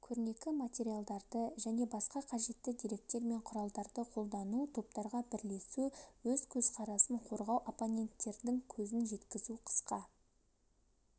көрнекі материалдарды және басқа қажетті деректер мен құралдарды қолдану топтарға бірлесу өз көзқарасын қорғау оппоненттердің көзін жеткізу қысқа